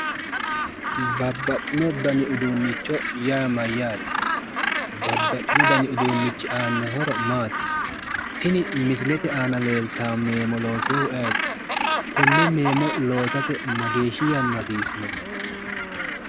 Babbaxxino dani uduunnicho yaa mayyaate? babbaxxino dani uduunnichi aanno horo maati? tini misilete aana leeltanno meemo loosinohu ayeti? tenne meemo loosate mageeshi yanna hasiisinosi?